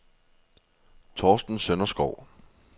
Thorsten Sønderskov